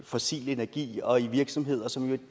fossil energi og i virksomheder som i